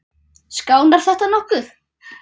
Skánar þetta nokkuð?